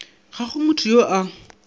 ga go motho yo a